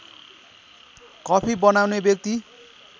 coffee बनाउने व्यक्ति